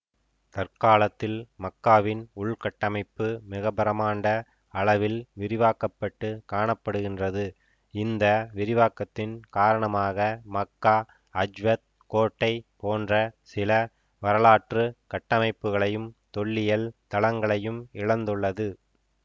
தற்காலத்தில் மக்காவின் உள்கட்டமைப்பு மிகப்பிரமாண்ட அளவில் விரிவாக்க பட்டு காண படுகின்றது இந்த விரிவாக்கத்தின் காரணமாக மக்கா அஜ்வத் கோட்டை போன்ற சில வரலாற்று கட்டமைப்புகளையும் தொல்லியல் தளங்களையும் இழந்துள்ளது